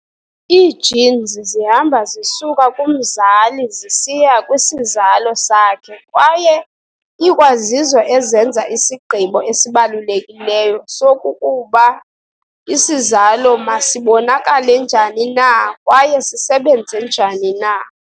Ii-genes zihamba zisuka kumzali zisiya kwisizalo sakhe kwaye ikwazizo ezenza isigqibo esibalulekileyo sokokuba isizalo masibonakale njani na kwaye sisebenze njani na.